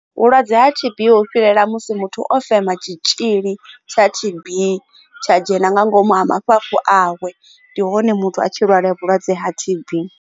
Vhulwadze ha T_B vhu fhirela musi muthu o fema tshitzhili tsha T_B tsha dzhena nga ngomu ha mafhafhu awe ndi hone muthu a tshi lwala vhulwadze ha T_B.